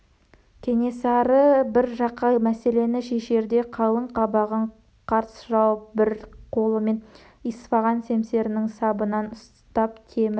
кенесары бір қиын мәселені шешерде қалың қабағын қарс жауып бір қолымен исфаған семсерінің сабынан ұстап темір